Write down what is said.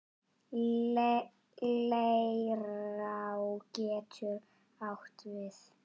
Leirá getur átt við